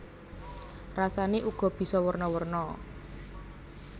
Rasané uga bisa werna werna